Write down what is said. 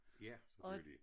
Ja selvfølgelig